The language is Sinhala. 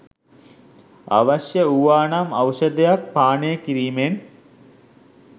අවශ්‍ය වූවානම් ඖෂධයක් පානය කිරීමෙන්